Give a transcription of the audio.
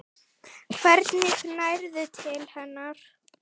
Hvernig nærðu til hennar?